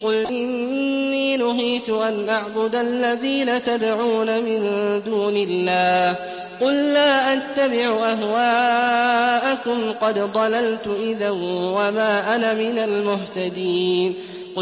قُلْ إِنِّي نُهِيتُ أَنْ أَعْبُدَ الَّذِينَ تَدْعُونَ مِن دُونِ اللَّهِ ۚ قُل لَّا أَتَّبِعُ أَهْوَاءَكُمْ ۙ قَدْ ضَلَلْتُ إِذًا وَمَا أَنَا مِنَ الْمُهْتَدِينَ